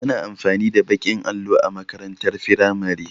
Ana amfani da baƙin allo a makarantar firamare